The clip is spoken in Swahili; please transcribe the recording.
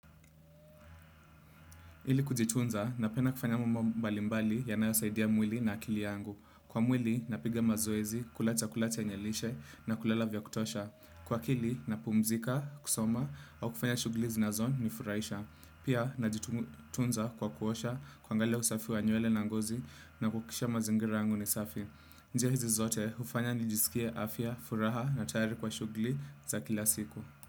Ili kujitunza, napenda kufanya mambo mbalimbali yanayosaidia mwili na akili yangu. Kwa mwili, napiga mazoezi, kula chakula chenye lishe na kulala vya kutosha. Kwa akili, napumzika, kusoma au kufanya shughuli zinazonifurahisha. Pia, najitunza kwa kuosha, kuangalia usafi wa nywele na ngozi na kuhakikisha mazingira yangu ni safi. Njia hizi zote, hufanya nijisikie afya, furaha na tayari kwa shughuli za kila siku.